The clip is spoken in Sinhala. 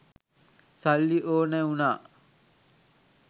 සල්ලි ඕනැ වුණා.